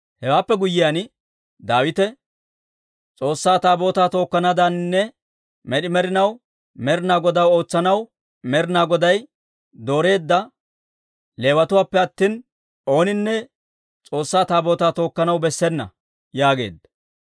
Hewaappe guyyiyaan Daawite, «S'oossaa Taabootaa tokkanaadaaninne med'i med'inaw Med'inaa Godaw ootsanaw Med'inaa Goday dooreedda Leewatuwaappe attina, ooninne S'oossaa Taabootaa tookkanaw bessena» yaageedda.